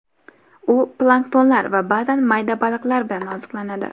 U planktonlar va ba’zan mayda baliqlar bilan oziqlanadi.